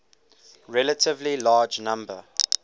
relatively large number